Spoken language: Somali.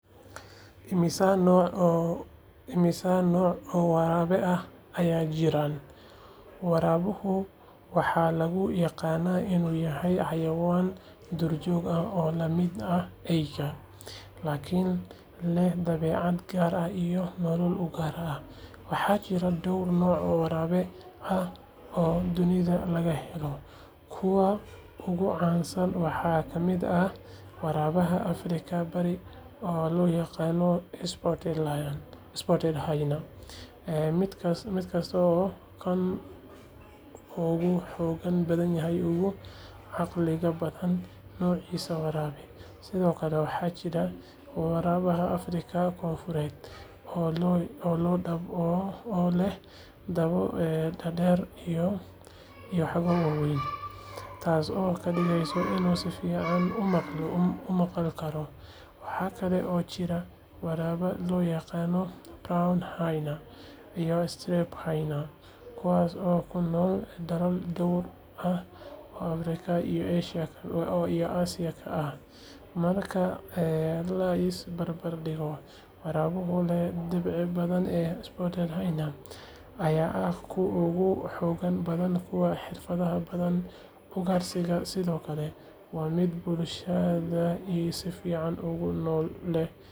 Immisa nooc oo waraabe ah ayaa jira? Waraabaha waxaa lagu yaqaannaa inuu yahay xayawaan duurjoog ah oo la mid ah eyda, laakiin leh dabeecad gaar ah iyo nolol u gaar ah. Waxaa jira dhowr nooc oo waraabe ah oo dunida laga helo. Kuwa ugu caansan waxaa ka mid ah waraabaha Afrikada bari oo loo yaqaan "Spotted hyena", midkaasoo ah kan ugu xoogga badan uguna caqliga badan noocyada waraabaha. Sidoo kale waxaa jira waraabaha Afrikada koonfureed oo leh dabo dhaadheer iyo dhago waaweyn, taasoo ka dhigeysa inuu si fiican u maqal karo. Waxa kale oo jira waraabaha loo yaqaan "Brown hyena" iyo "Striped hyena" kuwaasoo ku nool dalal dhowr ah oo Afrika iyo Aasiya ah. Marka la is barbar dhigo, waraabaha leh dhibco badan, ee "Spotted hyena", ayaa ah kan ugu xoogga badan uguna xirfadda badan ugaarsiga, sidoo kale waa mid bulshada si fiican ugu nool oo leh hab wada shaqeyn oo cajiib ah. Sidaas darteed, haddii la is weydiiyo kee baa ugu wanaagsan, jawaabtu waa waraabaha dhibcaha leh, sababtoo ah waa mid leh awood, xirfad, iyo nidaam bulsho oo aad u heer sareeya.